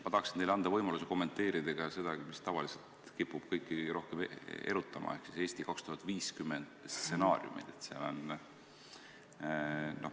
Ma tahan teile anda võimaluse kommenteerida ka seda, mis tavaliselt kipub kõiki rohkem erutama, ehk Eesti 2050 stsenaariume.